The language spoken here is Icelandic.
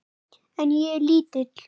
En ég er lítil.